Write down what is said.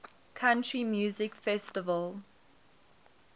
country music festival